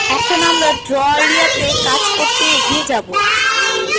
এখন আমরা draw এরিয়াতে কাজ করতে এগিয়ে যাবো